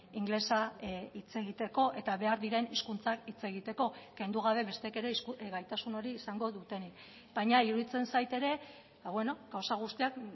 ingelesa hitz egiteko eta behar diren hizkuntzak hitz egiteko kendu gabe besteek ere gaitasun hori izango dutenik baina iruditzen zait ere gauza guztiak